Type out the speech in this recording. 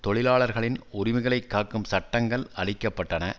தொழிலாளர்களின் உரிமைகளை காக்கும் சட்டங்கள் அழிக்க பட்டன